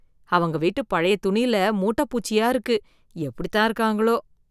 அவங்க வீட்டு பழைய துணில மூட்டைப்பூச்சியா இருக்கு எப்படி தான் இருக்காங்களோ!